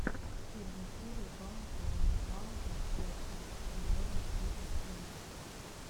первая серия баунти уан таузенд персент эернингс бизнесс инвэстментс